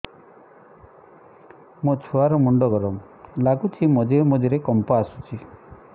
ମୋ ଛୁଆ ର ମୁଣ୍ଡ ଗରମ ଲାଗୁଚି ମଝିରେ ମଝିରେ କମ୍ପ ଆସୁଛି